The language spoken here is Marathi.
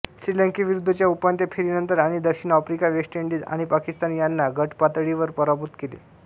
श्रीलंकेविरुद्धच्या उपांत्य फेरीनंतर आणि दक्षिण आफ्रिका वेस्ट इंडीज आणि पाकिस्तान यांना गट पातळीत पराभूत केले